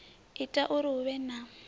ita uri hu vhe na